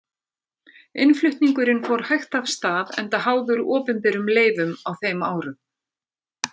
Innflutningurinn fór hægt af stað enda háður opinberum leyfum á þeim árum.